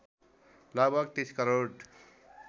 लगभग ३० करोड